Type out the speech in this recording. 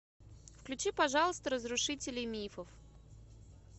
включи пожалуйста разрушители мифов